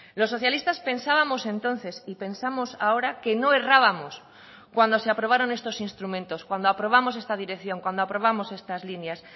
los socialistas pensábamos entonces y pensamos ahora que no errábamos cuando se aprobaron estos instrumentos cuando aprobamos esta dirección cuando aprobamos estas líneas